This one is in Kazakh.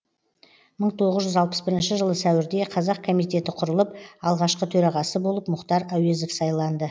мың тоғыз жүз алпыс бірінші жылы сәуірде қазақ комитеті құрылып алғашқы төрағасы болып мұхтар әуезов сайланды